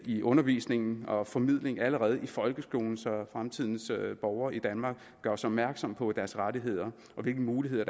i undervisningen og formidling allerede i folkeskolen så fremtidens borgere i danmark gøres opmærksom på deres rettigheder og hvilke muligheder